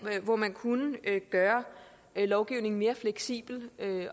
hvor man kunne gøre lovgivningen mere fleksibel